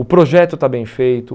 O projeto está bem feito.